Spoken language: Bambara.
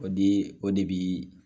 O di o de bɛ